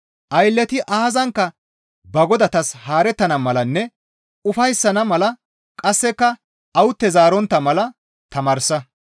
Aylleti aazankka ba godatas haarettana malanne ufayssana mala; qasseka awute zaarontta mala tamaarsa.